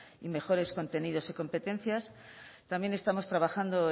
y mejores contenidos y competencias también estamos trabajando